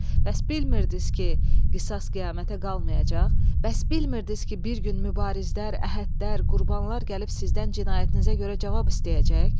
Bəs bilmirdiniz ki qisas qiyamətə qalmayacaq, bəs bilmirdiniz ki bir gün mübarizlər, əhədlər, qurbanlar gəlib sizdən cinayətinizə görə cavab istəyəcək?"